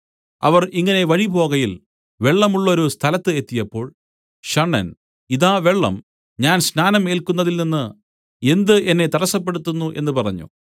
അവർ ഇങ്ങനെ വഴിപോകയിൽ വെള്ളമുള്ളൊരു സ്ഥലത്ത് എത്തിയപ്പോൾ ഷണ്ഡൻ ഇതാ വെള്ളം ഞാൻ സ്നാനം ഏല്ക്കുന്നതിൽനിന്ന് എന്ത് എന്നെ തടസ്സപ്പെടുത്തുന്നു എന്ന് പറഞ്ഞു